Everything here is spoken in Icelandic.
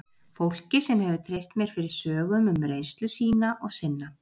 Fólki sem hefur treyst mér fyrir sögum um reynslu sína og sinna.